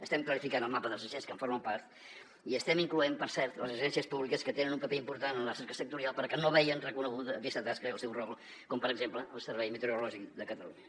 estem clarificant el mapa dels agents que en formen part i estem incloent hi per cert les agències públiques que tenen un paper important en la recerca sectorial però que no veien reconeguda aquesta tasca i el seu rol com per exemple el servei meteorològic de catalunya